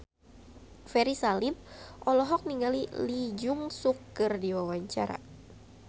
Ferry Salim olohok ningali Lee Jeong Suk keur diwawancara